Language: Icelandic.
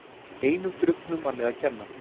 Einum drukknum manni að kenna